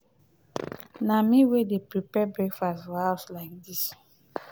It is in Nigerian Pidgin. na me wey dey prepare breakfast for house like dis.